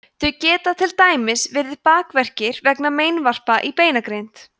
þau geta til dæmis verið bakverkir vegna meinvarpa í beinagrind